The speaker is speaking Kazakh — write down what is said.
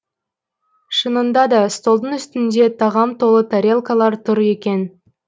шынында да столдың үстінде тағам толы тарелкалар тұр екен